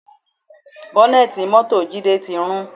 Bọ́nẹ̀tì mọ́tò Jide ti rún